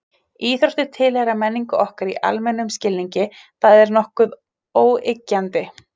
Íþróttir tilheyra menningu okkar í almennum skilningi, það er nokkuð óyggjandi.